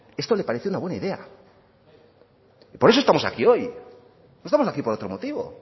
esto le parece una buena idea y por eso estamos aquí hoy no estamos aquí por otro motivo